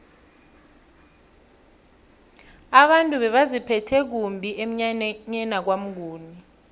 abantu bebaziphethe kumbi emnyanyeni kwamnguni